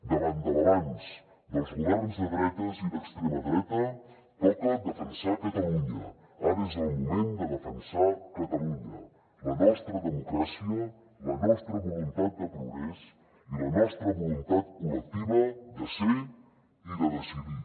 davant de l’avanç dels governs de dretes i d’extrema dreta toca defensar catalunya ara és el moment de defensar catalunya la nostra democràcia la nostra voluntat de progrés i la nostra voluntat col·lectiva de ser i de decidir